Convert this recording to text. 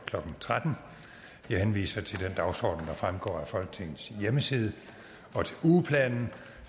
klokken tretten jeg henviser til den dagsorden der fremgår af folketingets hjemmeside og til ugeplanen